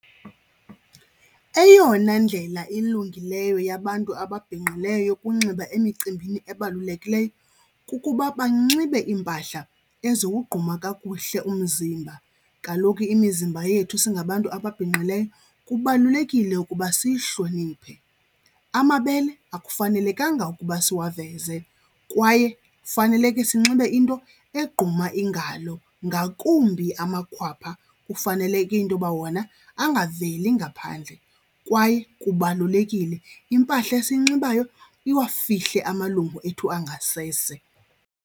Eyona ndlela ilungileyo yabantu ababhinqileyo yokunxiba emicimbini ebalulekileyo kukuba banxibe iimpahla eziwugquma kakuhle umzimba. Kaloku imizimba yethu singabantu ababhinqileyo kubalulekile ukuba siyihloniphe. Amabele akufanelekanga ukuba siwaveze kwaye faneleke sinxibe into egquma iingalo ngakumbi amakhwapha, kufaneleke into yoba wona angaveli ngaphandle. Kwaye kubalulekile impahla esiyinxibayo iwafihle amalungu ethu angasese.